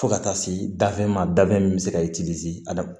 Fo ka taa se dafe ma da min bɛ se ka